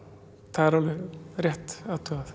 það er alveg rétt athugað